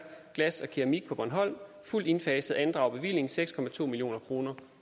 glas og keramik på bornholm fuldt indfaset andrager bevillingen seks million kroner